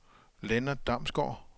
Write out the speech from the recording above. Lennart Damsgaard